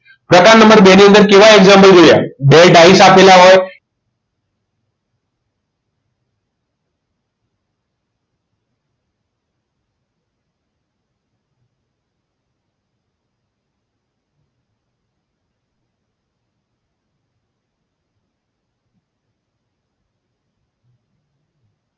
પ્રકાર નંબર બે ની અંદર કેવા example જોયા બે ટાઈસ આપેલા હોય